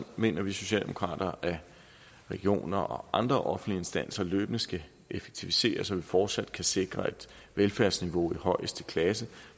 mener vi socialdemokrater at regioner og andre offentlige instanser løbende skal effektiviseres så vi fortsat kan sikre et velfærdsniveau af højeste klasse